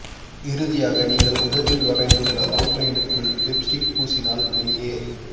இறுதியாக நீங்கள் உதட்டில் வரைந்துள்ள அவுட் லைனுக்குள் லிப்ஸ்டிக் பூசினால் வெளியே